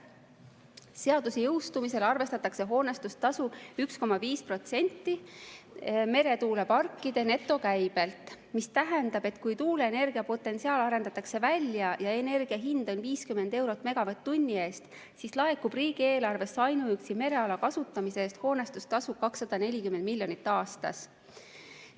Seaduse jõustumise korral arvestatakse hoonestustasu 1,5% meretuuleparkide netokäibelt, mis tähendab, et kui tuuleenergia potentsiaal arendatakse välja ja energia hind on 50 eurot megavatt-tunni eest, siis laekub riigieelarvesse ainuüksi mereala kasutamise eest hoonestustasu 240 miljonit aastas.